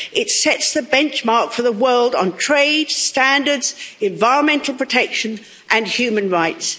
It sets the benchmark for the world on trade standards, environmental protection and human rights.